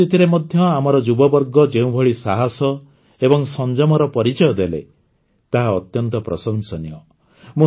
ଏ ପରିସ୍ଥିତିରେ ମଧ୍ୟ ଆମର ଯୁବବର୍ଗ ଯେଉଁଭଳି ସାହସ ଏବଂ ସଂଯମର ପରିଚୟ ଦେଲେ ତାହା ଅତ୍ୟନ୍ତ ପ୍ରଶଂସନୀୟ